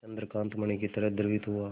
चंद्रकांत मणि ही तरह द्रवित हुआ